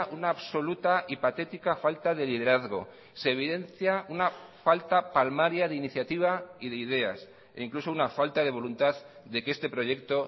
una absoluta y patética falta de liderazgo se evidencia una falta palmaria de iniciativa y de ideas e incluso una falta de voluntad de que este proyecto